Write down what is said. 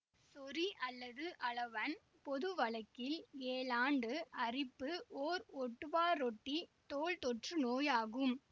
சொறி அல்லது அளவன் பொதுவழக்கில் ஏழாண்டு அரிப்பு ஓர் ஒட்டுவாரொட்டி தோல் தொற்று நோயாகும்